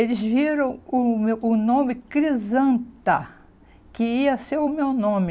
Eles viram o nome Crisanta, que ia ser o meu nome.